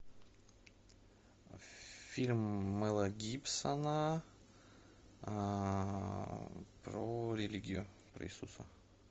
фильм мела гибсона про религию про иисуса